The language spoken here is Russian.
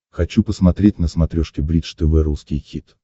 хочу посмотреть на смотрешке бридж тв русский хит